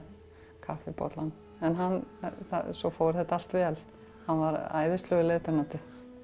kaffibollann en svo fór þetta allt vel hann var æðislegur leiðbeinandi